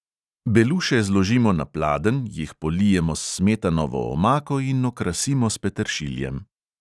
Beluše zložimo na pladenj, jih polijemo s smetanovo omako in okrasimo s peteršiljem.